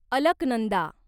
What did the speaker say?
Alaknanda